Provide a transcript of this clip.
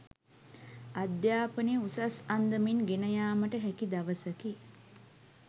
අධ්‍යාපනය උසස් අන්දමින් ගෙන යාමට හැකි දවසකි